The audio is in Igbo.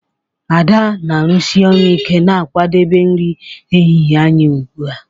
Ada na-arụsi ọrụ ike na-akwadebe nri ehihie anyị ugbu a